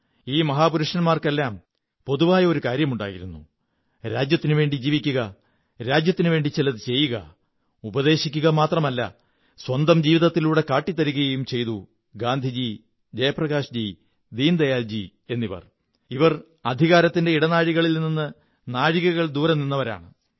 ഈ മഹാപുരുഷന്മാരുടെയെല്ലാം കേന്ദ്രബിന്ദു എന്തായിരുന്നു പൊതുവായ ഒരു കാര്യമുണ്ടായിരുന്നു രാജ്യത്തിനുവേണ്ടി ജീവിക്കുക രാജ്യത്തിനുവേണ്ടി ചിലതു ചെയ്യുക ഉപദേശിക്കുക മാത്രമല്ല സ്വന്തം ജീവിതത്തിലൂടെ കാട്ടിത്തരുകയും ചെയ്തു ഗാന്ധിജി ജയപ്രകാശ്ജി ദീനദയാല്ജി് എന്നിവർ അധികാരത്തിന്റെ ഇടനാഴികളിൽ നിന്ന് നാഴികകൾ ദൂരെ നിന്നവരാണ്